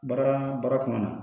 Baara baara kɔnɔna na